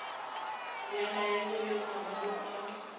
ya maemo le mangwalo a